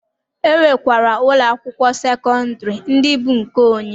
E nwekwara ụlọ akwụkwọ sekọndịrị ndị bụ nke onye.